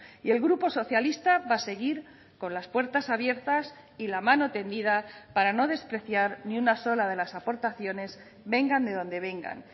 y el grupo socialista va a seguir con las puertas abiertas y la mano tendida para no despreciar ni una sola de las aportaciones vengan de donde vengan